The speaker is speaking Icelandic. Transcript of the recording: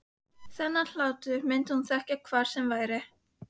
Þennan hlátur myndi hún þekkja hvar sem væri.